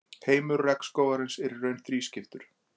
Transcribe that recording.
heimur regnskógarins er í raun þrískiptur